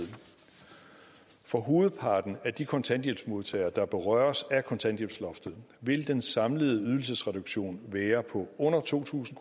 for hovedparten af de kontanthjælpsmodtagere der berøres af kontanthjælpsloftet vil den samlede ydelsesreduktion være på under to tusind